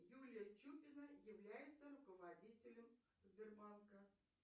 юлия чупина является руководителем сбербанка